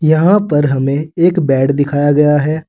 यहां पर हमें एक बेड दिखाया गया है।